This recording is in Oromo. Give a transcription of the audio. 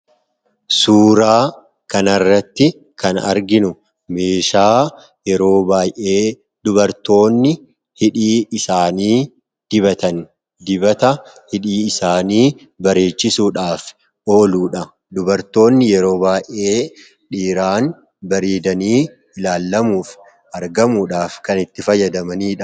Suuraa kanarratti kan arginu meeshaa yeroo baa'ee dubartoonni hidhii isaanii dibatan; dibata hidhii isaanii bareechisuudhaaf ooludha. Dubartoonni yeroo baa'ee dhiiraan bareedanii ilaallamuuf argamuudhaaf kan itti fayyadamaniidha.